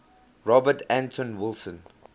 robert anton wilson